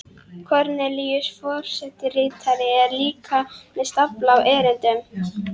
Kornelíus forsetaritari er líka með stafla af erindum.